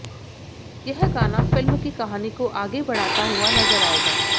यह गाना फ़िल्म की कहानी को आगे बढ़ाता हुआ नज़र आएगा